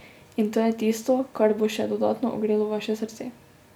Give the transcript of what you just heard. In to je tisto, kar bo še dodatno ogrelo vaše srce.